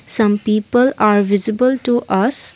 some people are visible to us.